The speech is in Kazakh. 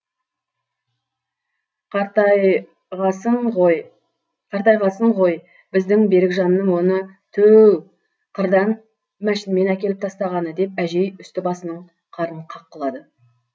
қартайғасын ғой біздің берікжанның оны тө өу қырдан мәшінмен әкеліп тастағаны деп әжей үсті басының қарын қаққылады